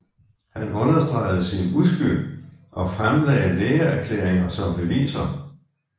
Han understregede sin uskyld og fremlagde lægeerklæringer som beviser